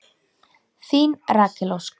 Þín Rakel Ósk.